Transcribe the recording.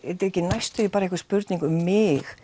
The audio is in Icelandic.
næstum því bara einhver spurning um mig